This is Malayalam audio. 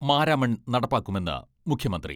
മാരാമൺ നടപ്പാക്കുമെന്ന് മുഖ്യമന്ത്രി.